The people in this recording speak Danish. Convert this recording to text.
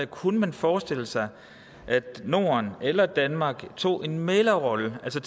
kunne forestille sig at norden eller danmark tog en mæglerrolle altså